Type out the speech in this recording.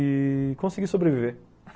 E... consegui sobreviver.